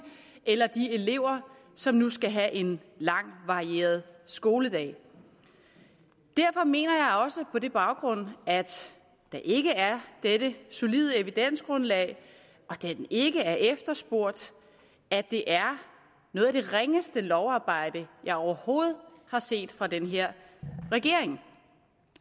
eller de elever som nu skal have en lang varieret skoledag derfor mener jeg også på den baggrund at der ikke er dette solide evidensgrundlag og da den ikke er efterspurgt at det er noget af det ringeste lovarbejde jeg overhovedet har set fra den her regering